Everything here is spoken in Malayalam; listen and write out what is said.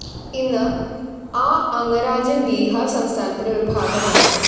ഇന്ന് ആ അംഗരാജ്യം ബീഹാര്‍ സംസ്ഥാനത്തിന്റെ ഒരു ഭാഗമാണ്